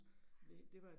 Ja